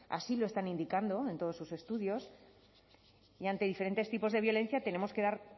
así lo están indicando en todos sus estudios y ante diferentes tipos de violencia tenemos que